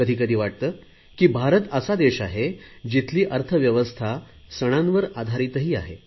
कधी कधी वाटते की भारत असा देश आहे जिथली अर्थव्यवस्था सणांवर आधारित आहे